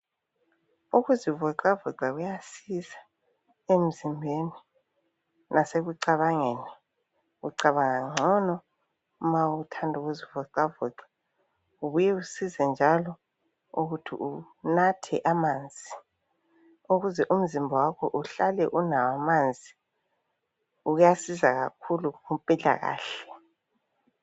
Ukuzivoxavoxa kuyasiza emzimbeni, nasekucabangeni. Ucabanga ngcono ma uthanda ukuzivoxavoxa kubuye kusize njalo ukuthi unathe amanzi ukuze umzimba wakho uhlale unamanzi. Kuyasiza kakhulu kumpilakahle.